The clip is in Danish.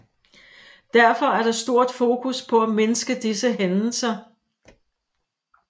Derfor er der stort fokus på at mindske disse hændelser